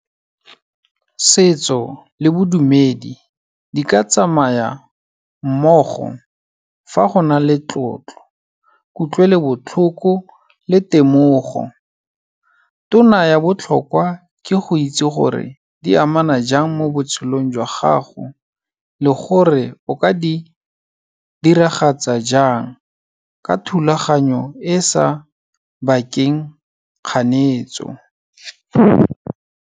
Setso le bodumedi, di ka tsamaya mmogo fa go na le tlotlo, kutlwelobotlhoko le temogo. Tona ya botlhokwa ke go itse gore, di amana jang mo botshelong jwa gago le gore o ka di diragatsa jang, ka thulaganyo e e sa bakeng kganetso.